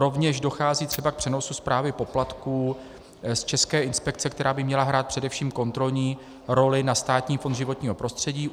Rovněž dochází třeba k přenosu správy poplatků z české inspekce, která by měla hrát především kontrolní roli, na Státní fond životního prostředí.